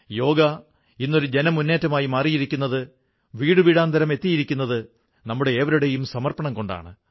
യോഗ ഇന്നൊരു ജനമുന്നേറ്റമായി മാറിയിരിക്കുന്നത് വീടുവീടാന്തരം എത്തിയിരിക്കുന്നത് നമ്മുടെ ഏവരുടെയും സമർപ്പണം കൊണ്ടാണ്